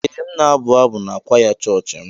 Ee m na-abụ abụ n'kwaya chọọchị m.